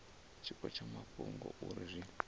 tshiko tsha mafhungo uri izwi